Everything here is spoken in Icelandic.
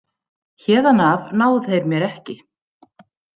Héðan af ná þeir mér ekki.